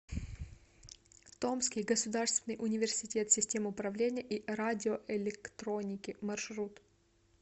томский государственный университет систем управления и радиоэлектроники маршрут